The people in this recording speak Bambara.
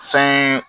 Fɛn ye